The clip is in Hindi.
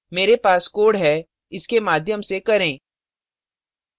मेरे पास code है इसके माध्यम से करें